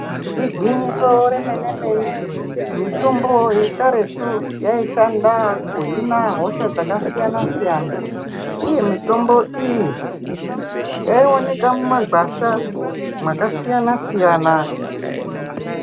Igwinyiso remene-mene, mitombo yekaretu yaishanda kuhina hosha dzakasiyana-siyana, uye mitombo iyi yaioneka mumagwasha mwakasiyana -siyana.